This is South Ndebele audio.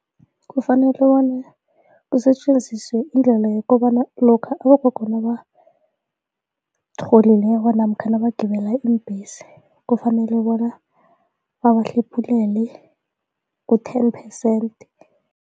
Kufanele bona kusetjenziswe indlela yokobana lokha abogogo nabatholileko namkha nabagibela iimbhesi, kufanele bona babahlephulele ku-ten percent.